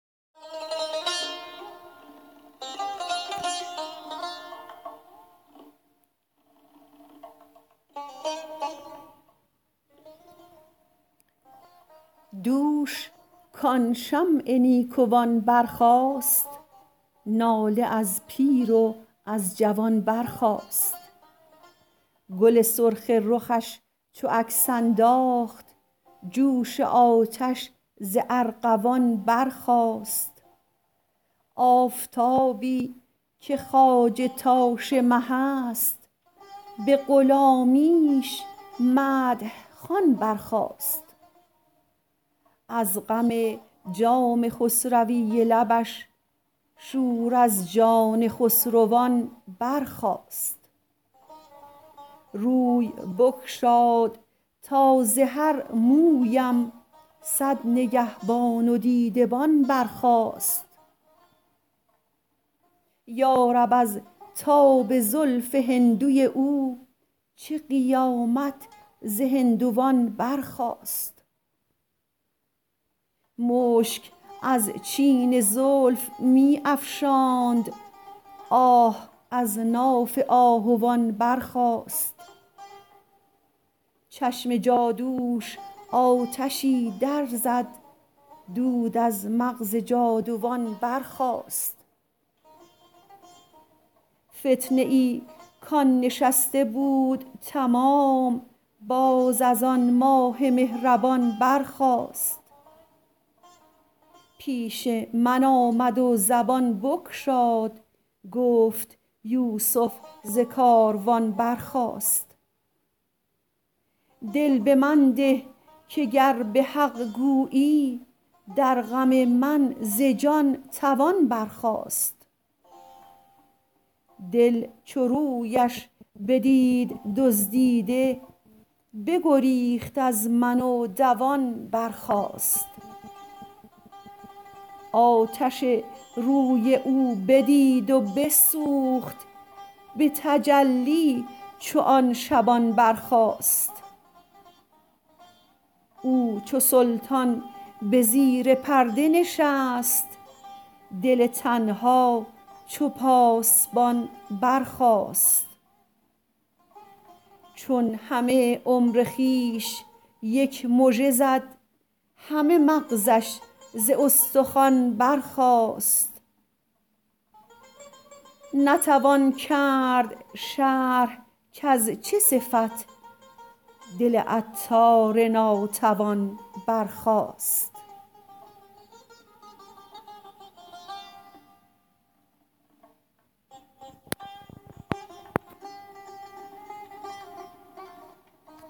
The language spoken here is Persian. دوش کان شمع نیکوان برخاست ناله از پیر و از جوان برخاست گل سرخ رخش چو عکس انداخت جوش آتش ز ارغوان برخاست آفتابی که خواجه تاش مه است به غلامیش مدح خوان برخاست از غم جام خسروی لبش شور از جان خسروان برخاست روی بگشاد تا ز هر مویم صد نگهبان و دیده بان برخاست یارب از تاب زلف هندوی او چه قیامت ز هندوان برخاست مشک از چین زلف می افشاند آه از ناف آهوان برخاست چشم جادوش آتشی در زد دود از مغز جادوان برخاست فتنه ای کان نشسته بود تمام باز از آن ماه مهربان برخاست پیش من آمد و زبان بگشاد گفت یوسف ز کاروان برخاست دل به من ده که گر به حق گویی در غم من ز جان توان برخاست دل چو رویش بدید دزدیده بگریخت از من و دوان برخاست آتش روی او بدید و بسوخت به تجلی چو آن شبان برخاست او چو سلطان به زیر پرده نشست دل تنها چو پاسبان برخاست چون همه عمر خویش یک مژه زد همه مغزش ز استخوان برخاست نتوان کرد شرح کز چه صفت دل عطار ناتوان برخاست